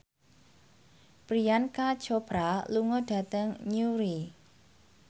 Priyanka Chopra lunga dhateng Newry